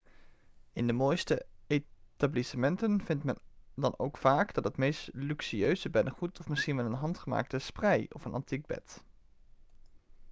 in de mooiste etablissementen vindt men dan ook vaak het meest luxueuze beddengoed of misschien wel een handgemaakte sprei of een antiek bed